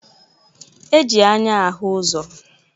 E ji anya ahụ ụzọ.